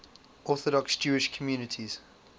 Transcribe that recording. orthodox jewish communities